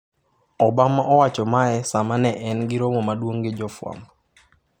Obama owacho mae sama ne en gi romo maduong' gi jofwambo.